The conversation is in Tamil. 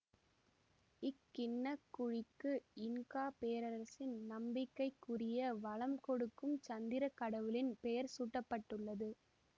இக்கிண்ணக்குழிக்கு இன்கா பேரரசின் நம்பிக்கைக்குரிய வளம் கொடுக்கும் சந்திர கடவுளின் பெயர் சூட்ட பட்டுள்ளது